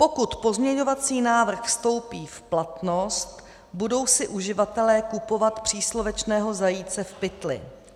'Pokud pozměňovací návrh vstoupí v platnost, budou si uživatelé kupovat příslovečného zajíce v pytli.